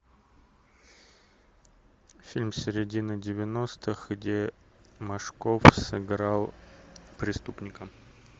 фильм середины девяностых где машков сыграл преступника